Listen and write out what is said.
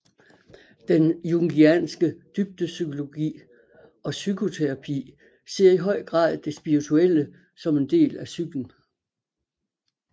Den jungianske dybdepsykologi og psykoterapi ser i høj grad det spirituelle som en del af psyken